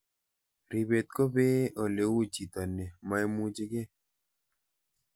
Ripet ko pee ole uu chito ne maimuchikei